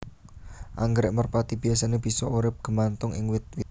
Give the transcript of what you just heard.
Anggrèk merpati biyasané bisa urip gemantung ing wit witan